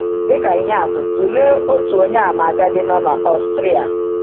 Dị ka ihe atụ, tụlee otu Onyeàmà agadi nọ n’Ọstrịa.